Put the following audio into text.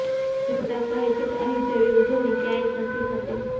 જીનિતા કહે છે કે અહીં જેવી ઉજવણી ક્યાંય નથી થતી